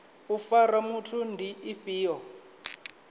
u fara muthu ndi ifhio